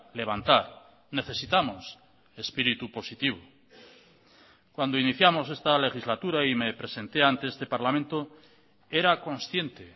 levantar necesitamos espíritu positivo cuando iniciamos esta legislatura y me presenté ante este parlamento era consciente